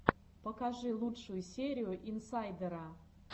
покажи лучшую серию инсайдера